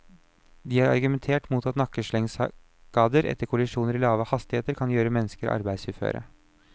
De har argumentert mot at nakkeslengskader etter kollisjoner i lave hastigheter kan gjøre mennesker arbeidsuføre.